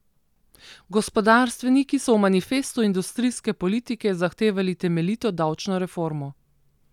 Gospodarstveniki so v manifestu industrijske politike zahtevali temeljito davčno reformo.